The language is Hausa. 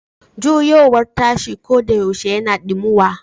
Juyowar tashi koɗayaushe yana dimuwa.